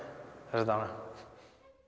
þessa dagana